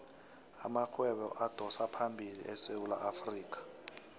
amarhwebo adosaphambili esewula afrikha